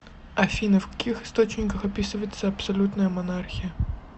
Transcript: афина в каких источниках описывается абсолютная монархия